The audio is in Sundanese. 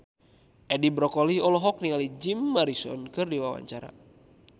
Edi Brokoli olohok ningali Jim Morrison keur diwawancara